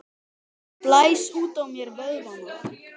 Ég blæs út á mér vöðvana.